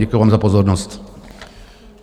Děkuji vám za pozornost.